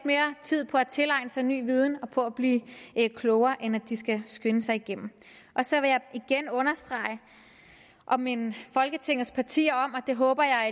mere tid på at tilegne sig ny viden og på at blive klogere end at de skal skynde sig igennem så vil jeg igen understrege og minde folketingets partier om og det håber jeg